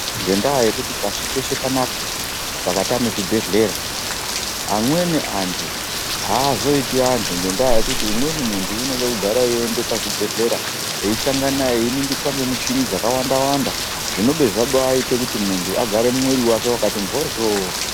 Ngenda yekuti pashi peshe panaapa pakatama zvibhedhlera amweni antu azoiti antu ngekuti umweni muntu unoda kugara eienda kuzvibhedhlera eisangana einingiswa pamuchini dzakawanda wanda zvinodoita kuti muntu agare mwiri wake wakati mboryo.